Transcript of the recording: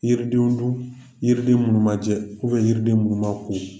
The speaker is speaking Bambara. Yiridenw dun yiriden munumajɛ yiriden munuma ko